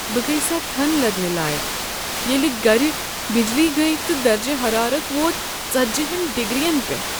بہٕ گیساتھن لدٕنہِ لایكھ ییٚلہ گھرِ بجلی گٔیہ تہٕ درجہ ہرارت ووت ژٔتجہَن ڈگرین پٮ۪ٹھ